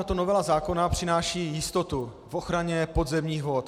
Tato novela zákona přináší jistotu v ochraně podzemních vod.